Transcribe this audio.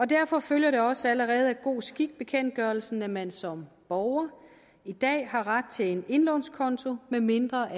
derfor følger det også allerede af god skik bekendtgørelsen at man som borger i dag har ret til en indlånskonto medmindre